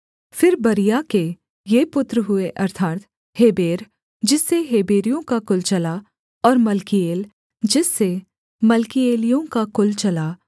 फिर बरीआ के ये पुत्र हुए अर्थात् हेबेर जिससे हेबेरियों का कुल चला और मल्कीएल जिससे मल्कीएलियों का कुल चला